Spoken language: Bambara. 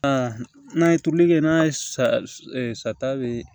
Aa n'a ye turuli kɛ n'a ye sa sa sata be